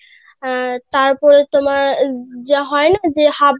তারপরে তোমার যা হয় না যে